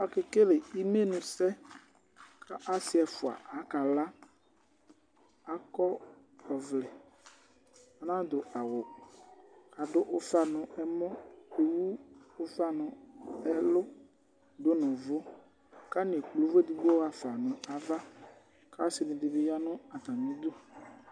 aƙɛkɛlɛ ɩmɩlʊsɛ kʊ ɔsɩ ɛƒɔa akala akɔvlɛ anaɖʊ awʊ aɖʊ ʊfa nʊ ɛmɔ ɛlʊ ɖʊnu ʊʋʊ kʊ atanɩ ɛklpɛ ʊvʊ eɖɩƙpo ɣaƒa naʋa kʊ asiɖini ɓi ɣanu atamɩɖʊ